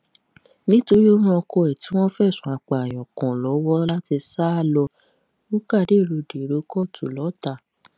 nítorí ó ran ọkọ ẹ tí wọn fẹsùn apààyàn kan lọwọ láti sá lọ rúkà dèrò dèrò kóòtù lọtà